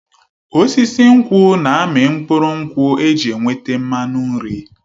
Osisi nkwụ na-amị mkpụrụ nkwụ eji enweta mmanụ nri.